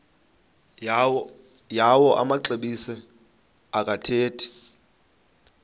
yawo amaxesibe akathethi